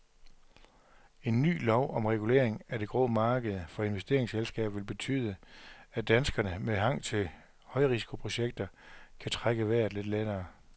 En ny lov om regulering af det grå marked for investeringsselskaber vil betyde, at danskere med hang til højrisikoprojekter kan trække vejret lidt lettere.